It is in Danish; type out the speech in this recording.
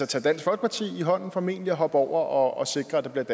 tage dansk folkeparti i hånden formentlig og hoppe over og sikre at der bliver